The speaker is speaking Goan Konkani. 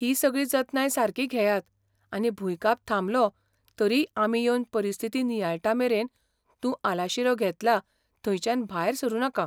ही सगळी जतनाय सारकी घेयात आनी भुंयकाप थांबलो तरीय आमी येवन परिस्थिती नियाळटामेरेन तूं आलाशिरो घेतला थंयच्यान भायर सरूं नाका.